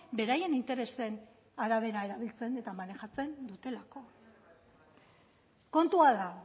beraien interesen arabera erabiltzen eta manejatzen dutelako kontua da